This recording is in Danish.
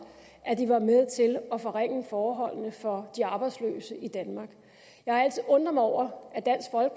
at de var med til at forringe forholdene for de arbejdsløse i danmark jeg har altid undret mig over